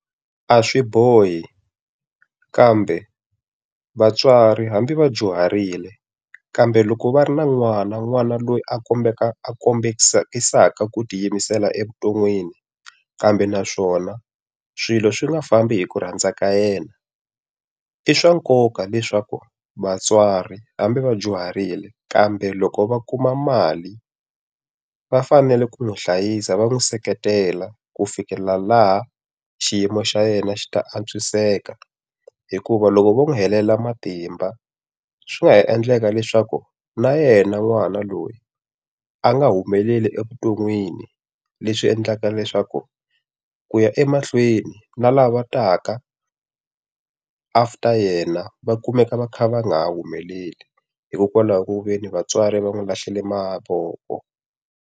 A swi bohi, kambe vatswari hambi va dyuharile kambe loko va ri na n'wana n'wana loyi a kombeka a kombekisa ku tiyimisela evuton'wini, kambe naswona swilo swi nga fambi hi ku rhandzaka yena. I swa nkoka leswaku vatswari hambi va dyuharile kambe loko va kuma mali, va fanele ku n'wi hlayisa va n'wi seketela ku fikelela laha xiyimo xa yena xi ta antswiseka. Hikuva loko vo n'wi helela matimba, swi nga ha endleka leswaku na yena n'wana loyi a nga humeleli evuton'wini. Leswi endlaka leswaku ku ya emahlweni na lava taka after yena va kumeka va kha va nga humeleli hikokwalaho ku ve ni vatswari va n'wi lahlele mavoko.